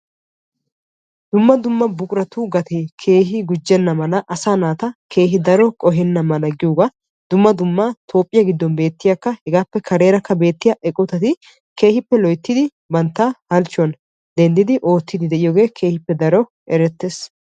Dumma dumma buquratu gatee keehi gujjena mala asaa naata keehi daro qohenna mala giyoogaa dumma dumma toophphiyaa giddon beettiyaa hegaappe kareerakka beettiyaa eqotati keehippe loyttidi bantta halchchuwaam denddidi oottidi de'iyoogee keehippe daro erettees.